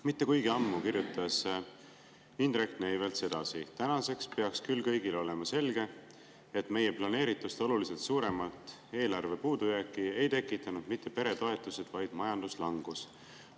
Mitte kuigi ammu kirjutas Indrek Neivelt sedasi: "Tänaseks peaks küll kõigile olema selge, et meie planeeritust oluliselt suuremat eelarvepuudujääki ei tekitanud mitte peretoetused, vaid majanduslangus.